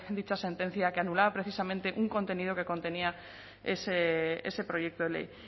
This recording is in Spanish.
dicha sentencia que anulaba precisamente un contenido que contenía ese proyecto de ley